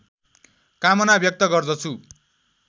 कामना व्यक्त गर्दछु